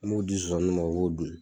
N m'o di zozaniw ma u b'o dun